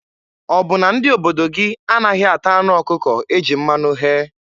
Ọ bụ na ndị obodo gị anaghị ata anụ ọkụkọ e ji mmanụ ghee?